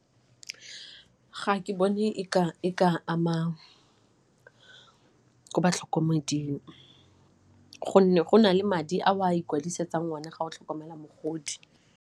Ga ke bone e ka ama ko batlhokomeding gonne go na le madi a o a ikwadisetsang one ga o tlhokomela mogodi.